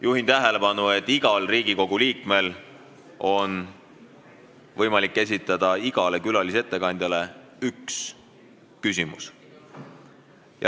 Juhin tähelepanu, et igal Riigikogu liikmel on võimalik esitada igale külalisettekandjale üks küsimus.